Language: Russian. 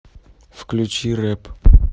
включи рэп